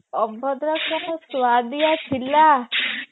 ଅଭଡା ଯୋଉ ସୁଆଦିଆ ଥିଲା